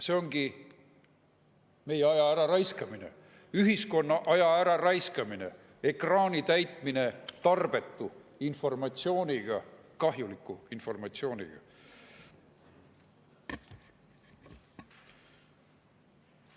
See ongi meie aja äraraiskamine, ühiskonna aja äraraiskamine, ekraani täitmine tarbetu informatsiooniga, kahjuliku informatsiooniga.